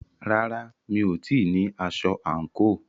Rárá, mi ò tíì ní aṣọ àǹkóò.